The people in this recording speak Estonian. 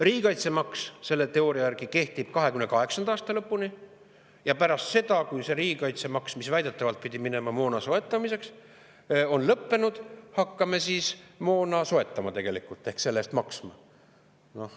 Riigikaitsemaks selle teooria järgi kehtib 2028. aasta lõpuni ja pärast seda, kui see riigikaitsemaks, mis väidetavalt pidi minema moona soetamiseks, on lõppenud, hakkame tegelikult moona soetama ehk selle eest maksma.